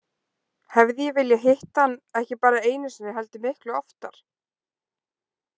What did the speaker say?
Hefði ég viljað hitta hann ekki bara einu sinni heldur miklu oftar?